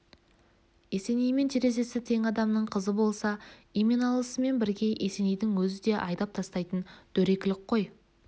есенеймен терезесі тең адамның қызы болса еменалысымен бірге есенейдің өзін де айдап тастайтын дөрекілік қой